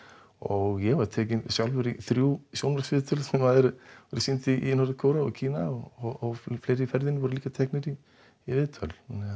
og ég var tekinn sjálfur í þrjú sjónvarpsviðtöl sem verða sýnd í Norður Kóreu og fleiri í ferðinni voru teknir í viðtöl